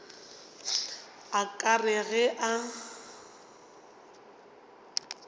a ka re ge a